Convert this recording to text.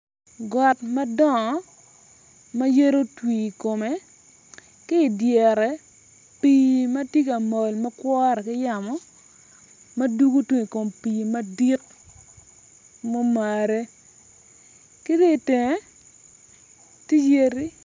Got madongo ma yadi otwi i kome ki idyere pii ma tye ka mol ma kwore ki yamo ma dugo tung i kom pii madit mumare ki dong itenge tye yadi